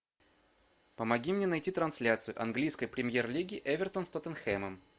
помоги мне найти трансляцию английской премьер лиги эвертон с тоттенхэмом